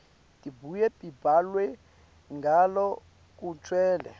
tibuye tibhalwe ngalokugcwele